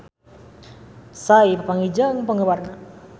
Psy papanggih jeung penggemarna